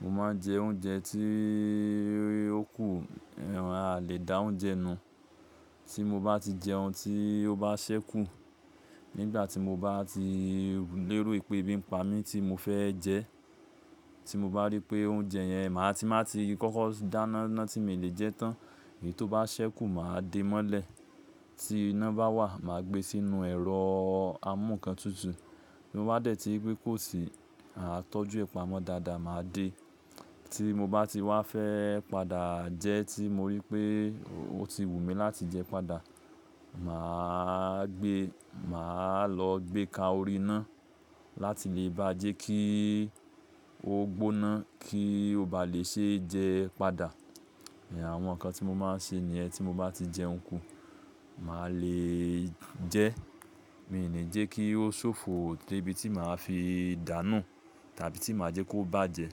Mo máa ń jẹ oúnjẹ tí ó kù, a lè dá oúnjẹ nù. Tí mo bá ti jẹ ohun tí ó bá ṣẹ́ kù, nígbà tí mo bá ti lérò pé e bí n pa mí tí mo fẹ́ jẹ, tí mo bá rí pé oúnjẹ yẹn màá ti máa ti kọ́kọ́ dáná ná tí mi lè jẹ tán, èyí tó bá ṣẹ́ kù màá de mọ́lẹ̀. Tí iná bá wà, màá gbé sínú ẹ̀rọ amúǹkan tutù. Mo bá dẹ̀ tí pé kó sì, àá tọ́jú ẹ̀pamọ́ dáadáa, màá dé. Tí mo bá ti wá fẹ́ padà jẹ tí mo rí pé ó ti wù mí láti jẹ padà, màá gbé, màá lọ gbé ka orí iná láti lè bá jẹ́ kí ó gbóná kí ó bá lè ṣe jẹ padà. Ẹ̀, àwọn nǹkan tí mo máa ń ṣe ni ẹ. Tí mo bá ti jẹun kù, màá lè jẹ́, mi ò ní jẹ́ kí ó ṣòfo dé ibi tí màá fi dànù tàbí tí màá jẹ́ kó bá jẹ.